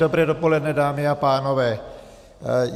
Dobré dopoledne, dámy a pánové.